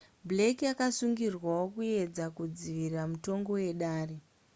blake akasungirwawo kuedza kudzivisa mutongo wedare